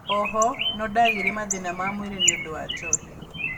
Ooho nondagĩire mathĩna ma mwĩrĩ nĩũndũ wa njohi